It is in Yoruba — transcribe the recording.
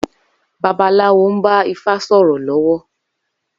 Babaláwo nba ifá sòrò lówó